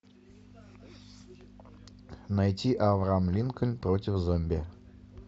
найти авраам линкольн против зомби